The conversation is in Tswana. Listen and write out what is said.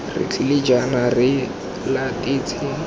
re tlile jaana re latetse